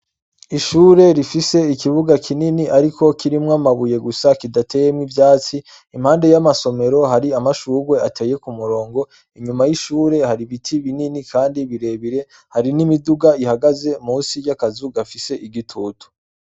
Ishuri rifise ikibuga kinini ariko kirimwo amabuye gusa kidateyemwo ivyatsi impande y'amasomero hari amashurwe ateye ku murongo inyuma y'ishuri hari ibiti binini kandi birebire hari n'imiduga ihagaze munsi y'akazu gafise igitutu.